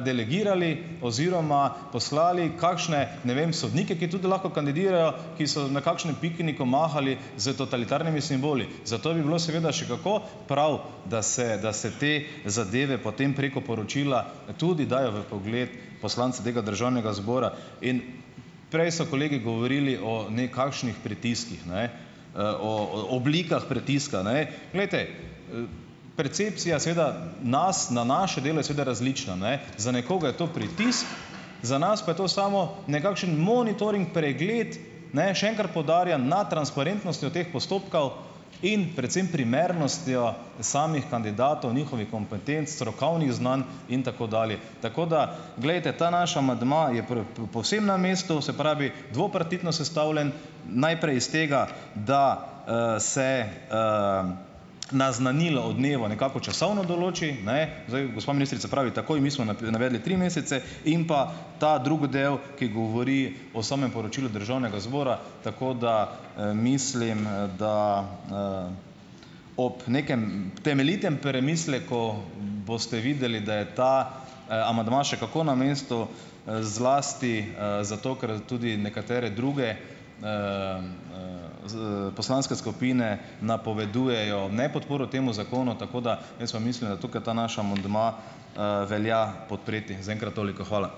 delegirali oziroma poslali kakšne, ne vem, sodnike, ki tudi lahko kandidirajo, ki so na kakšnem pikniku mahali s totalitarnimi simboli. Zato bi bilo seveda še kako prav, da se da se te zadeve potem preko poročila, tudi dajo v vpogled poslancem tega Državnega zbora in prej so kolegi govorili o nekakšnih pritiskih, ne, o o oblikah pritiska, ne. Glejte, percepcija seveda, nas, na naše delo, je seveda različna, ne. Za nekoga je to pritisk, za nas pa je to samo nekakšen monitoring, pregled - ne, še enkrat poudarjam - na transparentnostjo teh postopkov in predvsem primernostjo samih kandidatov, njihovih kompetenc, strokovnih znanj in tako dalje. Tako da, glejte, ta naš amandma je povsem na mestu, se pravi, dvopartitno sestavljen - najprej iz tega, da, se, naznanilo o dnevu nekako časovno določi, ne, zdaj, gospa ministrica pravi, takoj, mi smo navedli tri mesece in pa, ta drugi del, ki govori o samem poročilu Državnega zbora, tako da, mislim, da, ob nekem temeljitem premisleku, boste videli, da je ta, amandma še kako na mestu, zlasti, zato, ker tudi nekatere druge, poslanske skupine napovedujejo nepodporo temu zakonu, tako da, jaz pa mislim, da tukaj ta naš amandma, velja podpreti. Zaenkrat toliko, hvala!